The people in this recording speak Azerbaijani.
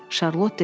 Şarlot dedi.